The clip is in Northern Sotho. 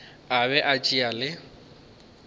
a be a tšea le